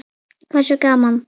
Hversu gaman??